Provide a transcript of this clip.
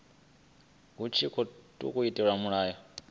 hu tshi tkhou itelwa mulayo